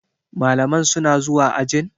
Malaman suna zuwa ajin?